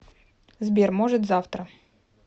сбер может завтра